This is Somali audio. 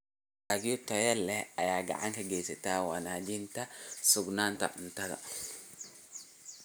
Dalagyo tayo leh ayaa gacan ka geysta wanaajinta sugnaanta cuntada.